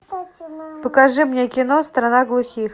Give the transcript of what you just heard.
покажи мне кино страна глухих